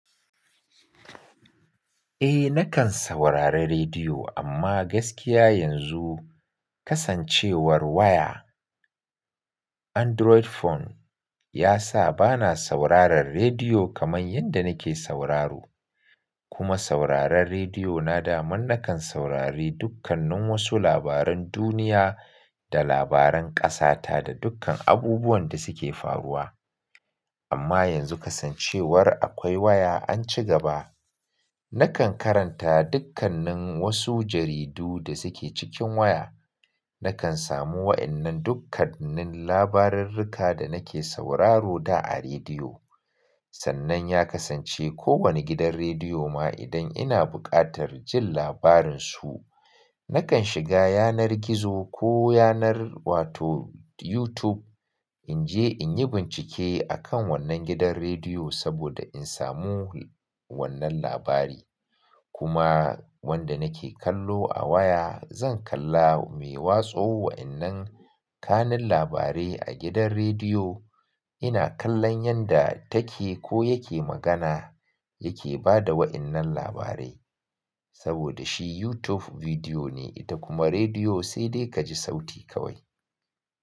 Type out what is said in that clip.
Eh nakan saurari rediyo amma gaskiya yanzu kasancewar waya Android phone ya sa bana sauraron rediyo kamar yadda nake sauraro. Kuma sauraron rediyo na daman nakan saurari dukkanin wasu labaran duniya da labaran ƙasata da dukkan abubuwan da suke faruwa. Amma yanzu kasancewar akwai waya an ci gaba. Nakan karanta dukkanin wasu jaridu da suke cikin waya. Nakan samu wa'innan dukkanin labarurruka da nake sauraro da a rediyo. Sannan ya kasance ko wani gidan rediyo ma idan ina buƙatar jin labarin su, nakan shiga yanar gizo ko yanar wato YouTube in je in yi bincike a kan wannan gidan rediyo saboda in samu wannan labari. Kuma wanda nake kallo a waya zan kalla mai watsa wa'innan kanun labarai a gidan rediyo. Ina kallon yanda take ko yake magana yake ba da wa'innan labarai. Saboda shi YouTube bidiyo ne ita kuma rediyo sai dai kaji sauti kawai.